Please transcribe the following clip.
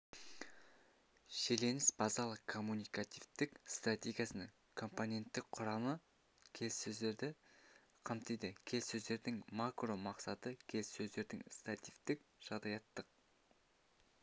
шиеленіс базалық коммуникативтік стратегиясының компоненттік құрамы келесілерді қамтиды келіссөздердің макро мақсаты келіссөздердің стереотиптік-жағдаяттық